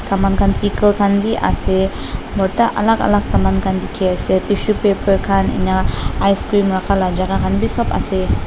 saman khan pickle khan bhi ase borta alak alak saman khan dikhi ase tissue paper khan enika ice cream rakha laga jaka khan bhi sob ase.